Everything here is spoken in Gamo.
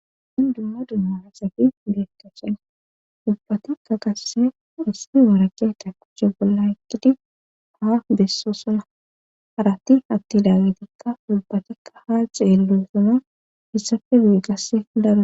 Min dumma dummaasaki beettashen ubbatikka qasse isti marakeeta kujje bolla ekkidi haa besso suna haratti hatti daagitikka ulbatikka ha xeellu sama issafe biigasse daro.